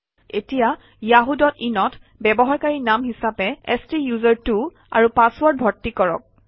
এতিয়া yahooin অত ব্যৱহাৰকাৰী নাম হিচাপে স্তোচেৰ্ত্ব আৰু পাছৱৰ্ড ভৰ্তি কৰক